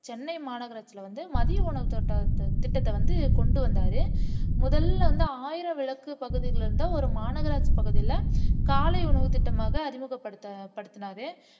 சென்னை மாநகரத்துல வந்து மதிய உணவுத்தொட்ட திட்டத்தை வந்து கொண்டு வந்தாரு முதல்ல வந்து ஆயிரம் விளக்கு பகுதியில இருந்து ஒரு மாநகராட்சி பகுதியில காலை உணவுத்திட்டமாக அறிமுகப்படுத்து படுத்துனாரு